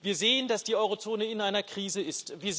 Wir sehen, dass die Eurozone in einer Krise ist.